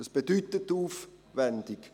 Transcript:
Was bedeutet aufwendig?